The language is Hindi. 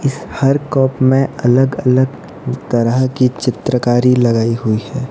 इस हर कप मे अलग अलग तरह की चित्रकारी लगाई हुई है।